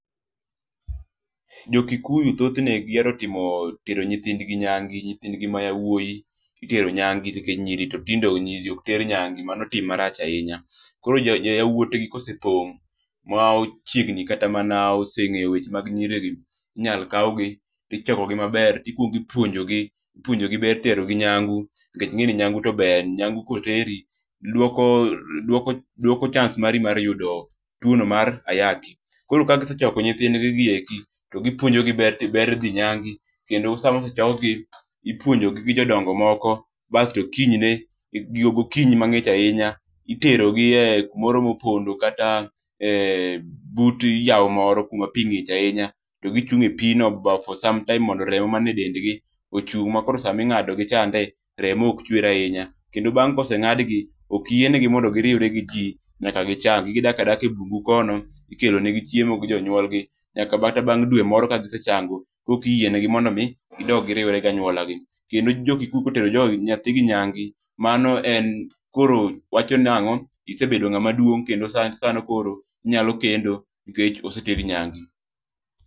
Jo kikuyu thothne gihero tero nyithing gi nyange, nyithind gi ma yawuoyi itero nyangi nikech nyiri to ok ter nyangi mano tim marach ahinya, koro yawuot gi kosepong' ma oseng'eyo weche mag nyiri gi inyalo kaw gi tichoko gi maber tikuongi puonjo gi ipunjo gi ber tero gi nyangu, nikech ing'e ni nyangu to ber, nyangu koteri duoko chance mari mar yudo tuono mar ayaki, koro ka gisechoko nyithind gi gi eki to gi puonjo gi ber dhi nyangi, kendo sama osechok gi ipuonjo gi gi jodongo moko, basto kinyne gokinyi mang'ich ahinya itero giek kumoro mopondo kata but yawo moro kuma pi ng'iche, to gichung' e pi no bang' for some time mondo remo man e dend gi ochung' ma koro sama ing'ado gi chande remo ok chuer ahinya ,kendo bang' kose ngadgi ok yiene gi mondo gi iwre gi ji nyaka gi chang'i ,gidak adaka e bungu kono kendo ikelo ne gi chiemo gi jonyuol nyaka mana bang' dwe moro ka gise chango kore ki yiene gi mondo mi gidog gi riwre ganyuola gi ,kendo jogi kotero nyathi gi nyangu mano koro en wacho nango isebedo ng'ama duong' kendo koro inyalo kendo nikech oseteri nyange.